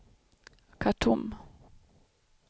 Khartoum